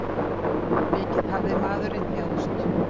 Mikið hafði maðurinn þjáðst.